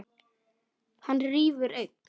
Hann rífur enn.